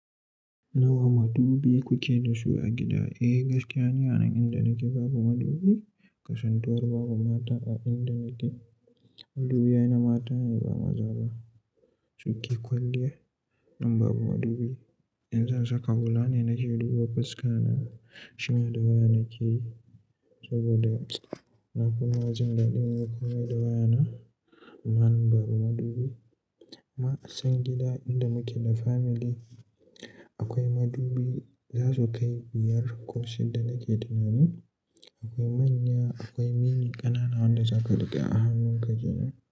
Nawa madubi kuke da su a gida? Eh gaskiya ne, a nan inda nake babu madubi. Kasuntawar babu mata a inda nake. Madubi ai na mata ne ba maza ba. Su ke kwalliya. Nan babu madubi. In zan saka hula ne nake duba fuska na, shima da waya nake yi saboda na fima jin daɗin yin komai da waya na. Amma nan babu madubi. Ma'an san gida inda muke da family akwai madubi za su kai biyar ko shidda nake tunanin. Akwai manya akwai mini ƙanana wanda zaka riƙe a hannunka jiya ne.